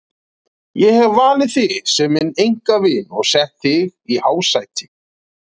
Ég hef valið þig sem minn einkavin og sett þig í hásæti.